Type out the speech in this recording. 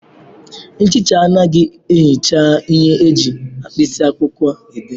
Nchicha anaghị ehicha ihe eji mkpịsị akwụkwọ dee.